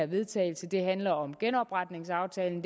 vedtagelse handler om genopretningsaftalen